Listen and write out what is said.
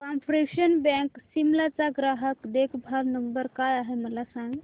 corporation bank Shimla चा ग्राहक देखभाल नंबर काय आहे मला सांग